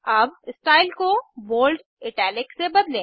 अब स्टाइल को bold italic से बदलें